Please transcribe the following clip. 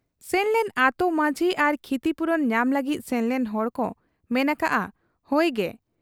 ᱥᱮᱱᱞᱮᱱ ᱟᱹᱛᱩ ᱢᱟᱹᱡᱷᱤ ᱟᱨ ᱠᱷᱤᱛᱤᱯᱩᱨᱚᱱ ᱧᱟᱢ ᱞᱟᱹᱜᱤᱫ ᱥᱮᱱᱞᱮᱱ ᱦᱚᱲᱠᱚ ᱢᱮᱱ ᱟᱠᱟᱜ ᱟ ᱦᱚᱭ ᱜᱮ ᱾